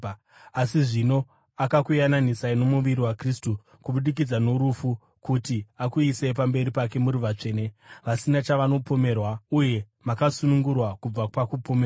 Asi zvino akakuyananisai nomuviri waKristu kubudikidza norufu kuti akuisei pamberi pake muri vatsvene, vasina chavanopomerwa uye makasunungurwa kubva pakupomerwa